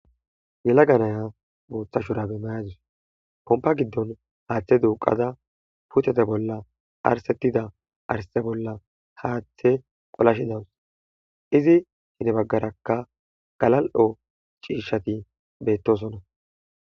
yellagga naya boththa shuurabe mayadus pompa giddon haaththe duuqadda putetta bolla dharxetiida dharxe bolla haaththe qolashshi dawus izi hini baggarakka galal'o ciishshati beettoosona